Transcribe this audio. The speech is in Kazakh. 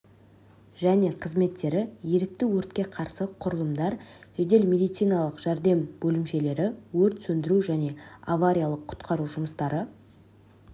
және қызметтері ерікті өртке қарсы құрылымдар жедел медициналық жәрдем бөлімшелері өрт сөндіру және авариялық-құтқару жұмыстары